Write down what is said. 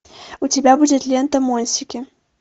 у тебя будет лента монсики